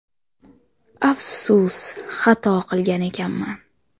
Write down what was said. Afsus, xato qilgan ekanman.